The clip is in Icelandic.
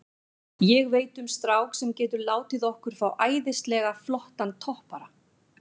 Ég veit um strák sem getur látið okkur fá æðislega flottan toppara.